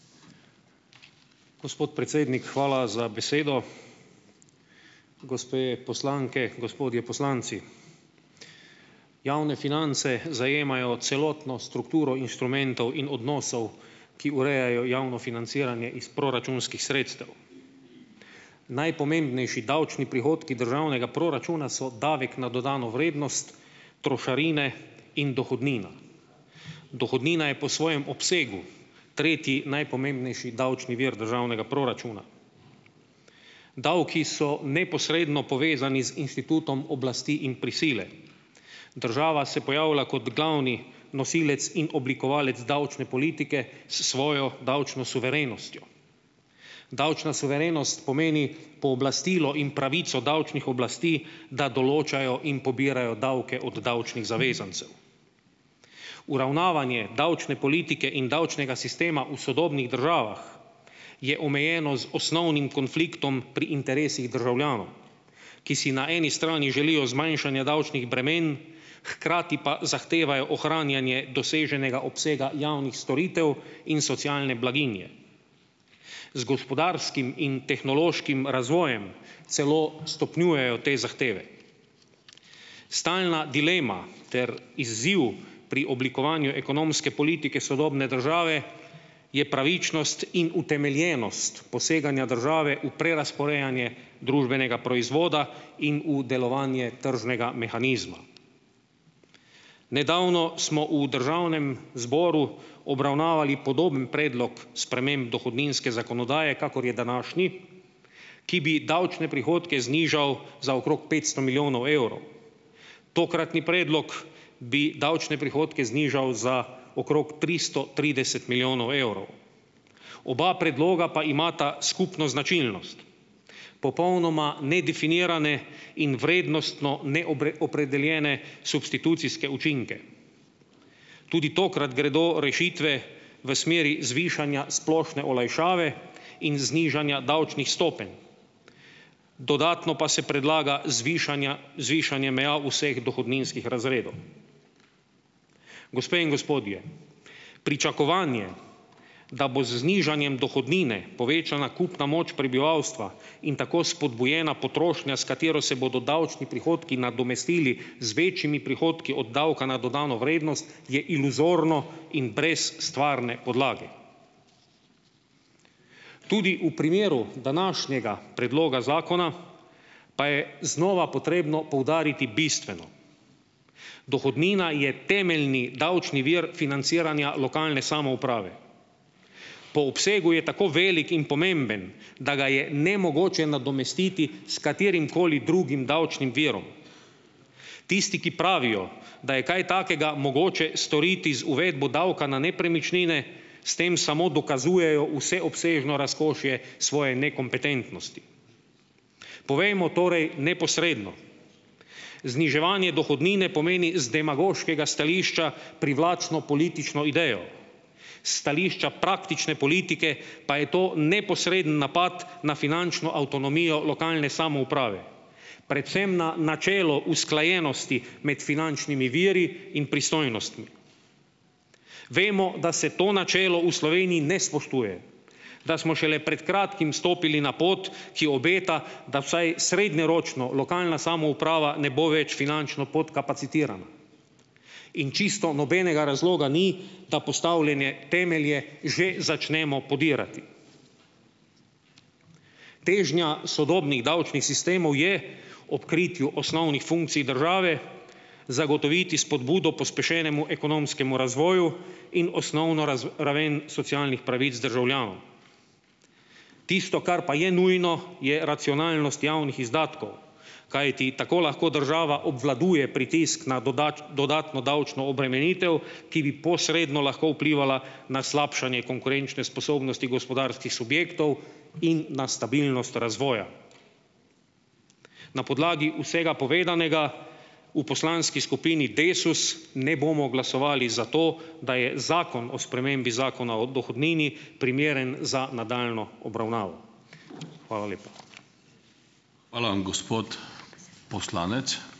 Gospod predsednik, hvala za besedo. Gospe poslanke, gospodje poslanci! Javne finance zajemajo celotno strukturo inštrumentov in odnosov, ki urejajo javno financiranje iz proračunskih sredstev. Najpomembnejši davčni prihodki državnega proračuna so davek na dodano vrednost, trošarine in dohodnina. Dohodnina je po svojem obsegu tretji najpomembnejši davčni vir državnega proračuna. Davki so neposredno povezani z inštitutom oblasti in prisile. Država se pojavlja kot glavni nosilec in oblikovalec davčne politike s svojo davčno suverenostjo. Davčna suverenost pomeni pooblastilo in pravico davčnih oblasti, da določajo in pobirajo davke od davčnih zavezancev. Uravnavanje davčne politike in davčnega sistema v sodobnih državah je omejeno z osnovnim konfliktom pri interesih državljanov, ki si na eni strani želijo zmanjšanja davčnih bremen, hkrati pa zahtevajo ohranjanje doseženega obsega javnih storitev in socialne blaginje. Z gospodarskim in tehnološkim razvojem celo stopnjujejo te zahteve. Stalna dilema ter izziv pri oblikovanju ekonomske politike sodobne države je pravičnost in utemeljenost poseganja države v prerazporejanje družbenega proizvoda in v delovanje tržnega mehanizma. Nedavno smo v državnem zboru obravnavali podoben predlog sprememb dohodninske zakonodaje, kakor je današnji, ki bi davčne prihodke znižal za okrog petsto milijonov evrov. Tokratni predlog bi davčne prihodke znižal za okrog tristo trideset milijonov evrov. Oba predloga pa imata skupno značilnost. Popolnoma nedefinirane in vrednostno opredeljene substitucijske učinke. Tudi tokrat gredo rešitve v smeri zvišanja splošne olajšave in znižanja davčnih stopenj. Dodatno pa se predlaga zvišanja zvišanje meja vseh dohodninskih razredov. Gospe in gospodje, pričakovanje, da bo z znižanjem dohodnine povečana kupna moč prebivalstva in tako spodbujena potrošnja, s katero se bodo davčni prihodki nadomestili z večjimi prihodki od davka na dodano vrednost, je iluzorno in brez stvarne podlage. Tudi v primeru današnjega predloga zakona pa je znova potrebno poudariti bistveno. Dohodnina je temeljni davčni vir financiranja lokalne samouprave. Po obsegu je tako velik in pomemben, da ga je nemogoče nadomestiti s katerimkoli drugim davčnim virom. Tisti, ki pravijo, da je kaj takega mogoče storiti z uvedbo davka na nepremičnine, s tem samo dokazujejo vseobsežno razkošje svoje nekompetentnosti. Povejmo torej neposredno. Zniževanje dohodnine pomeni z demagoškega stališča privlačno politično idejo. S stališča praktične politike pa je to neposreden napad na finančno avtonomijo lokalne samouprave. Predvsem na načelo usklajenosti imeti finančnimi viri in pristojnostmi. Vemo, da se to načelo v Sloveniji ne spoštuje. Da smo šele pred kratkim stopili na pot, ki obeta, da vsaj srednjeročno lokalna samouprava ne bo več finančno podkapacitirana. In čisto nobenega razloga ni, da postavljene temelje že začnemo podirati. Težnja sodobnih davčnih sistemov je ob kritju osnovnih funkcij države zagotoviti spodbudo pospešenemu ekonomskemu razvoju in osnovno raven socialnih pravic državljanov. Tisto, kar pa je nujno, je racionalnost javnih izdatkov. Kajti tako lahko država obvladuje pritisk na dodatno davčno obremenitev, ki bi posredno lahko vplivala na slabšanje konkurenčne sposobnosti gospodarskih subjektov in na stabilnost razvoja. Na podlagi vsega povedanega v poslanski skupini Desus ne bomo glasovali za to, da je zakon o spremembi Zakona o dohodnini primeren za nadaljnjo obravnavo. Hvala lepa.